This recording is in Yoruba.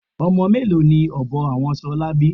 Ọmọ mélòó ni ọbọ àwọn ṣolá bí?